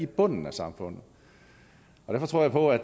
bunden af samfundet derfor tror jeg på at